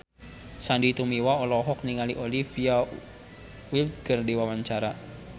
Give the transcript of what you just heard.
Sandy Tumiwa olohok ningali Olivia Wilde keur diwawancara